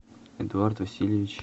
эдуард васильевич